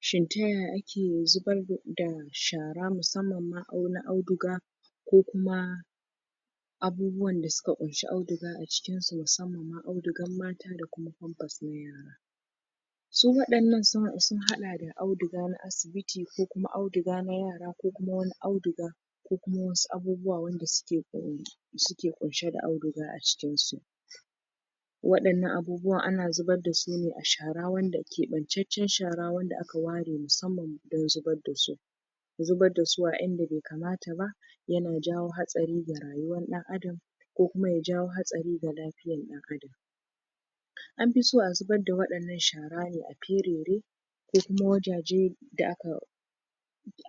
shin ta yaya ake zubar da shara musamman ma na auduga ko kuma abubuwan da suka kunshi auduga a cikinsu musamman ma audugar mata da fanfas ɗin yara su waɗannan sun.. sun haɗa da auduga na asibiti, ko kuma auduga na yara ko kuma wani auduga ko kuma wasu abubuwa wanda suke kun suke ƙunshe da auduga a cikinsu waɗannan abubuwa ana zubar dasu ne a shara wanda keɓanceccen shara wanda aka ware musammam don zubar dasu zubar dasu a inda bai kamata ba yana jawo hatsari ga rayuwar ɗan adam ko kuma ya jawo hatsari ga lafiyar ɗan adam anfiso a zubar da waɗannan shara ne a ferere ko kuma wajaje da aka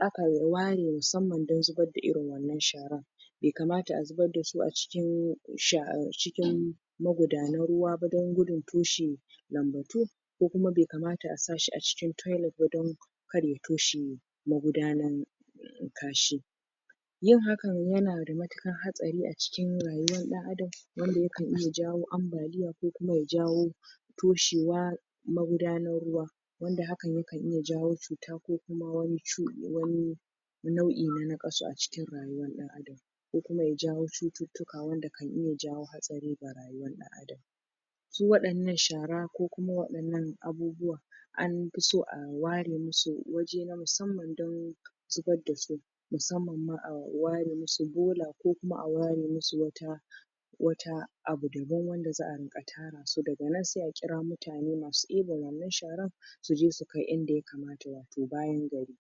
aka ware musamman dan zubar da irin wannan sharan bai kamata a zubar dasu a cikin shar.. acikin magudanan ruwa ba don gudun toshe lamba tu ko kuma bai kamata a sashi a cikin toilet ba don gudun kar ya toshe magudanan kashi yin hakan yana da matuƙar hatsari a cikin rayuwar ɗan adam wanda yakan iya jawo ambaliya ko kuma ya jawo toshewar magudanan ruwa wanda hakan kan iya jawo cuta ko kuma wani ciw.. wani nau'i na nakasu a cikin rayuwar ɗan adam ko kuma ya jawo cututtuka wanda kan iya jawo hatsari ga rayuwar ɗan adam su waɗannan shara ko waɗannan abubuwa anfi so a ware musu waje na musamman don zubar dasu musamman ma a ware musu bola ko kuma a ware musu wata wata abu daban wanda za'a ringa tara su daga nan sai a kira mutane masu ɗiban wannan sharan suje sukai inda ya kamata wato bayan gari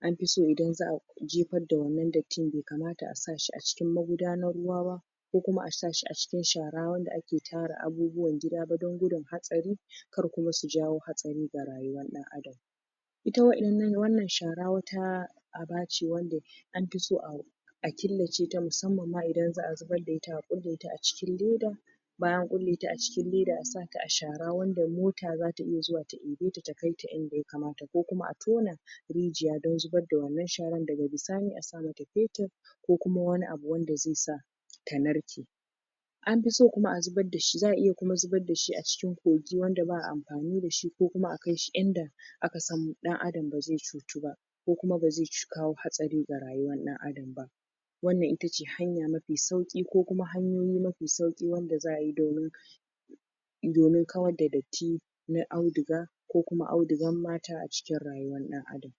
anfi so idan za'a jefar da wannan dattin bai kamata a sashi a magudanan ruwa ba ko kuma a sashi a cikin shara wanda ake tara abubuwan gida don gudun hatsari kar kuma su jawo hatsari ga rayuwar ɗan adam ita wa innan wannan shara wata aba ce wanda anfi so a killace ta musamman ma idan za'a zubar da ita a kulle ta a cikin leda bayan an kulle ta a cikin leda, a sa ta a shara wanda mota zata iya zuwa ta ibe ta ta kaita inada ya kamata ko kuma a tona rijiya don zubar da wannan sharan daga bisani a sa mata fetur ko kuma wani abu wanda zaisa ta narke anfiso kuma a zubar dashi.. za'a kuma iya zubar dashi a cikin kogi wanda ba'a amfani dashi ko kuma a kaishi inda akasan ɗan adam bazai cutu ba ko kuma bazai kawo hatsari ga rayuwar ɗan adam ba wannan ita ce hanya mafi sauki ko kuma hanyoyi mafi sauki wanda za'ayi domin kawar da datti na auduga ko kuma audugar mata a cikin rayuwaar ɗan adam